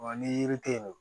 Wa ni yiri tɛ ye nɔ